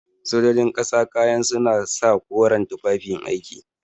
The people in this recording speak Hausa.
Sojojin ƙasa kayan suna sa koren tufafin aiki.